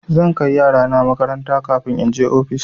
Zan kai yarana makaranta kafin in je ofis.